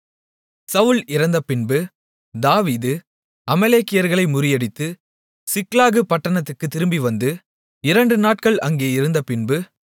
சவுல் இறந்தபின்பு தாவீது அமலேக்கியர்களை முறியடித்து சிக்லாகு பட்டணத்துக்குத் திரும்பிவந்து இரண்டு நாட்கள் அங்கே இருந்த பின்பு